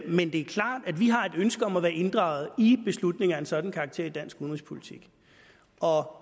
men det er klart at vi har et ønske om at være inddraget i beslutninger af en sådan karakter i dansk udenrigspolitik og